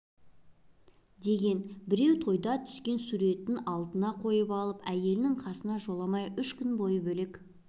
деген біреу тойда түскен суретін алдына қойып алып әйелінің қасына жоламай үш күн бойы бөлек